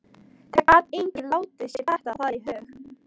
Það gat enginn látið sér detta það í hug.